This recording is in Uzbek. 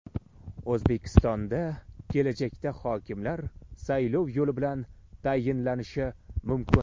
O‘zbekistonda kelajakda hokimlar saylov yo‘li bilan tayinlanishi mumkin.